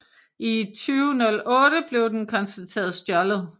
I 2008 blev den konstateret stjålet